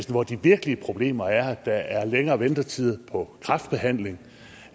hvor de virkelige problemer er at der er længere ventetid på kræftbehandling